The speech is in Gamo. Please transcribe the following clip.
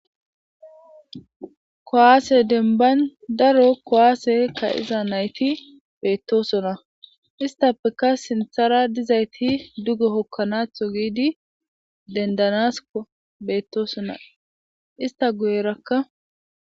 kowaase denbayn daro kowaase ka iza nayti beettosona istappeka sinthara dizayti dugo hokkanatho giidi dendanasa beettosona ista guyerakka